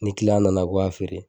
Ni kiliyan nana ko feere nana g'a feere